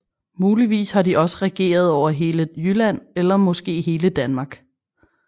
Muligvis har de også regeret over hele Jylland eller måske hele Danmark